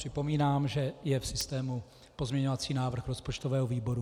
Připomínám, že je v systému pozměňovací návrh rozpočtového výboru.